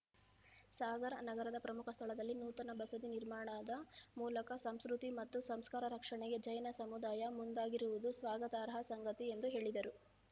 ಸಾಗರ ನಗರದ ಪ್ರಮುಖ ಸ್ಥಳದಲ್ಲಿ ನೂತನ ಬಸದಿ ನಿರ್ಮಾಣದ ಮೂಲಕ ಸಂಸ್ಕೃತಿ ಮತ್ತು ಸಂಸ್ಕಾರ ರಕ್ಷಣೆಗೆ ಜೈನ ಸಮುದಾಯ ಮುಂದಾಗಿರುವುದು ಸ್ವಾಗತಾರ್ಹ ಸಂಗತಿ ಎಂದು ಹೇಳಿದರು